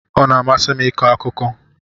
Ọ na-amasị m ịkọ akụkọ.